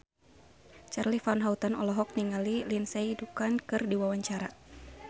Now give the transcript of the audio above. Charly Van Houten olohok ningali Lindsay Ducan keur diwawancara